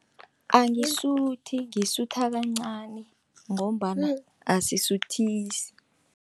Angisuthi ngisutha kancani, ngombana asisuthisi.